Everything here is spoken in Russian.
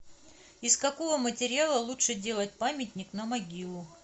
из какого материала лучше делать памятник на могилу